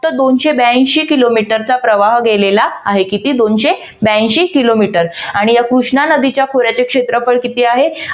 तर दोनशे ब्यांशी किलोमीटरचा प्रवाह गेलेला आहे. किती? दोनशे ब्यांशी किलोमीटर आणि ह्या कृष्णा नदीच्या खोऱ्याचे क्षेत्रफळ किती आहे?